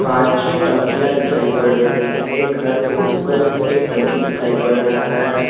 पांच छः टंकिया दिखाई पड़ रही हैं एक घर के ऊपर भी एक टंकी दिखाई पड़ रहा है।